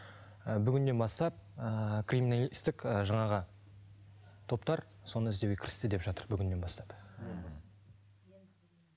ы бүгіннен бастап ыыы криминалистік ы жаңағы топтар соны іздеуге кірісті деп жатыр бүгіннен бастап